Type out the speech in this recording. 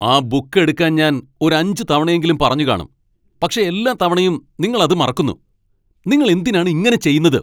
ആ ബുക്ക് എടുക്കാൻ ഞാൻ ഒരു അഞ്ച് തവണയെങ്കിലും പറഞ്ഞു കാണും, പക്ഷേ എല്ലാ തവണയും നിങ്ങൾ അത് മറക്കുന്നു, നിങ്ങൾ എന്തിനാണ് ഇങ്ങനെ ചെയ്യുന്നത്?